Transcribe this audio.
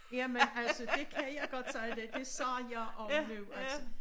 Jamen altså det kan jeg godt sige dig det sagde sagde jeg om nu altså